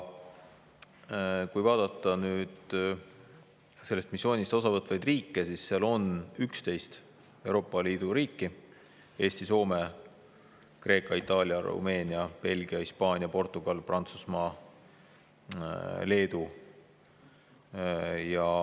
Kui vaadata nüüd sellest missioonist osa võtvaid riike, siis seal on Euroopa Liidu riiki: Eesti, Soome, Kreeka, Itaalia, Rumeenia, Belgia, Hispaania, Portugal, Prantsusmaa, Leedu.